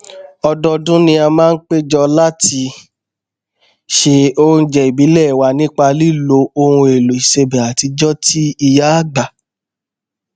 ọdọọdún ni a máa n péjọ láti se oúnjẹ ìbílẹ wa nípa lílo ohunèlò ìsebẹ àtijọ ti ìyáàgbà